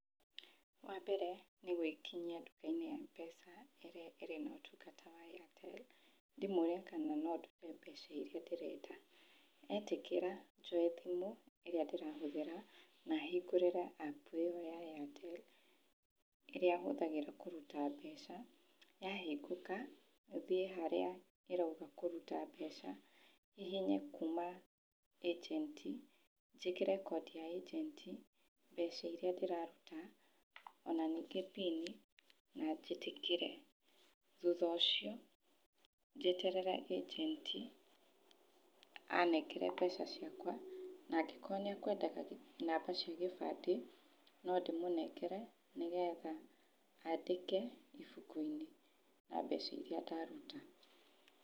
Wa mbere nĩ gwĩkinyia nduka-inĩ ya M-pesa ĩria ĩri na ũtungata wa Airtel ndĩmorie kana no ndute mbeca iria ndĩrenda, metikĩra njoe thimu ĩria ndĩrenda na hingũrĩre app ĩyo ya Airtel ĩrĩa hũthagĩra kũruta mbeca. Yahingũka thiĩ harĩa ĩrauga kũruta mbeca hihinye kuma agent njĩkĩre code ya agent mbeca iria ndĩraruta ona ningĩ pini na njĩtĩkĩre. Thutha ũcio njeterere agent anengere mbeca ciakwa na angĩkorwo nĩ ekwendaga namba cia gĩbandĩ no ndĩmũnengere nĩ getha andĩke ibuku-inĩ na mbeca iria ndaruta